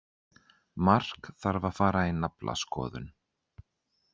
Mark þarf að fara í naflaskoðun.